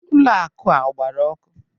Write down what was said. Ụlọ akụ a agbara ọkụ?